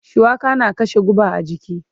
Shuwaka na kashe guba a jiki.